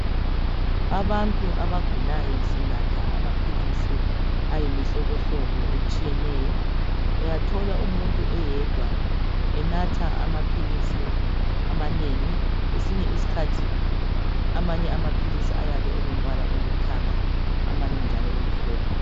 Abantu abagulayo sinatha amaphilisi ayimihlobohlobo etshiyeneyo uyathola umuntu oyedwa enatha amaphilisi amanengi kwesinye isikhathi amanye amaphilisi ayabe elo mbala oluthanga amanye njalo emhlophe